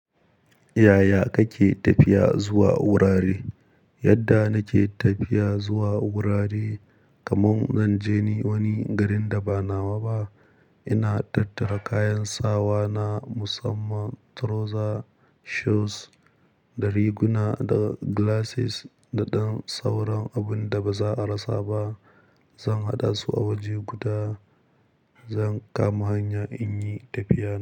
Yaya kake tafiya zuwa wurare? Yadda nake tafiya zuwa wurare kaman zan je ni wani garin da ba nawa ba, ina tattara kayan sawa na musamman, trousers, shoes da riguna da glasses da ɗan sauran abun da baza a rasa ba. Zan haɗa su a waje guda, zan kama hanya in yi tafiya.